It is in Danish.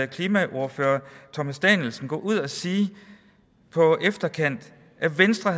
klimaordfører herre thomas danielsen gå ud og sige på efterkant at venstre